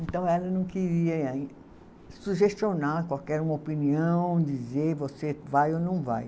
Então ela não queria sugestionar qualquer uma opinião, dizer você vai ou não vai.